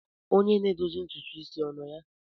Onye na-edozi ntutu isi ọ nọ ya?